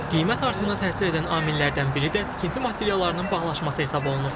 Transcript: Qiymət artımına təsir edən amillərdən biri də tikinti materiallarının bahalaşması hesab olunur.